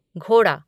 घोड़ा